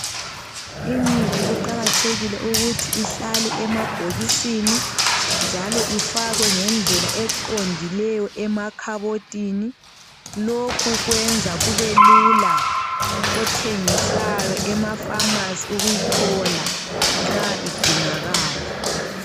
Imithi kuqakathekile ukuthi ihlale emabhokisini njalo ifakwe ngendlela eqondileyo emakhabothini, lokhu kwenza kubelula kothengisayo emafamasi ukuyithola nxa idingakala.